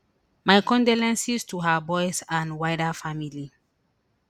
my condolences to her boys and wider family